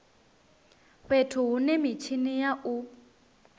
fhethu hune mitshini ya u